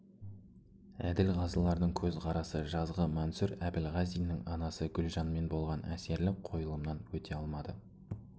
әділқазылардың көзқарасы жазғы мансур әбілғазиннің анасы гүлжанмен болған әсерлі қойылымынан өте алмады